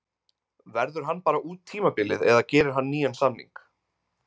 Verður hann bara út tímabilið eða gerir hann nýjan samning?